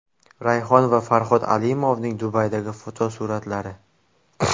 Rayhon va Farhod Alimovning Dubaydagi fotosuratlari.